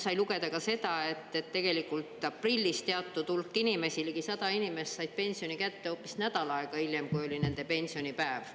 Sai lugeda ka seda, et tegelikult aprillis teatud hulk inimesi, ligi 100 inimest, said pensioni kätte hoopis nädal aega hiljem, kui oli nende pensionipäev.